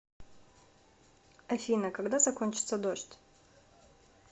афина когда закончится дождь